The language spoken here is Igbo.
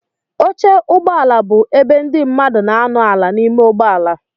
Oche ụgbọala bụ ebe ndị mmadụ na anọ ala n'ime ụgbọala.